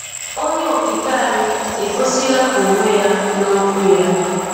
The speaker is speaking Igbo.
Onye Okike anyị egosila Onwe Ya n’Ọ̀kwú Ya.